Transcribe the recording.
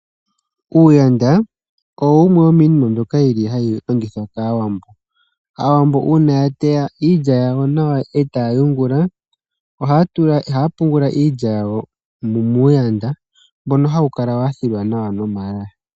Iigandhi oyo yimwe yomiinima mbyoka yili hayi longithwa kaawambo. Aawambo uuna ya teya iilya yawo nawa etaya yungula, ohaya pungula iilya yawo miigandhi mbyono hayi kala ya kolongwa nawa nomaloya.